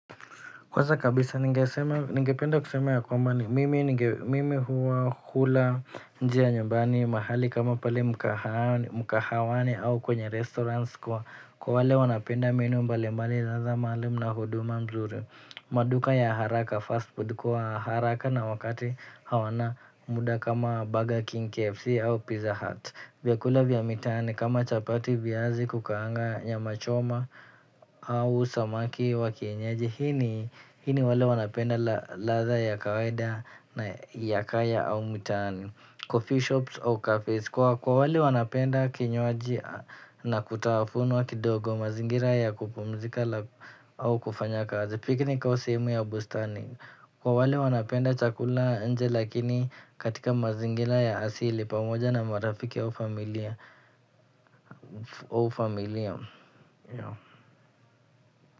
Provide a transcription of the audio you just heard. Kwanza kabisa ningependa kusema ya kwamba mimi huwa hula njia nyumbani mahali kama pale mkahawani au kwenye restaurants kwa kwa wale wanapenda menu mbali mbali mahali mna huduma mzuri maduka ya haraka fast food kwa haraka na wakati hawana muda kama Burger King KFC au Pizza Hut. Vyakula vya mitaani kama chapati vyiazi kukaanga nyam choma au samaki wa kienyeji hii ni wale wanapenda ladha ya kawaida na ya kaya au mitaani. Coffee shops au cafees kwa wale wanapenda kinywaji na kutafunwa kidogo mazingira ya kupumzika au kufanya kazi. Piknik au simu ya bustani kwa wale wanapenda chakula nje lakini katika mazingira ya asili pamoja n marafiki au familia.